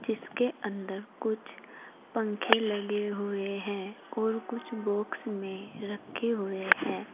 इसके अंदर कुछ पंख लगे हुए हैं और कुछ बॉक्स में रखे हुए हैं।